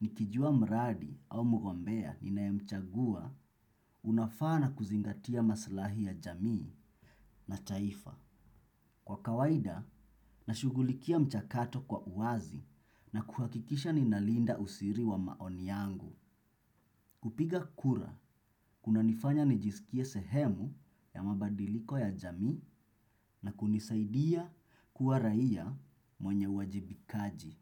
nikijua mradi au mgombea ninayemchagua unafaa na kuzingatia maslahi ya jamii na taifa. Kwa kawaida, nashughulikia mchakato kwa uwazi na kuhakikisha ninalinda usiri wa maoni yangu. Kupiga kura kunanifanya nijisikie sehemu ya mabadiliko ya jamii na kunisaidia kuwa raia mwenye wajibikaji.